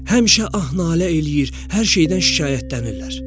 Həmişə ah-nalə eləyir, hər şeydən şikayətlənirlər.